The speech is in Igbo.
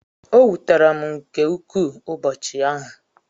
o wutere m nke ukwu ụbọchị ahụ